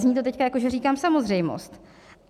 Zní to teď jako, že říkám samozřejmost.